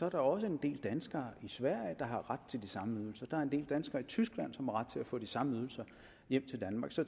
at der også er en del danskere i sverige der har ret til de samme ydelser der er en del danskere i tyskland som har ret til at få de samme ydelser hjem til danmark så